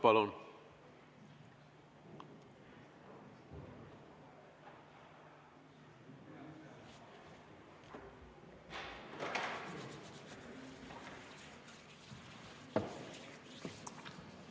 Palun!